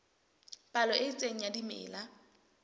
palo e itseng ya dimela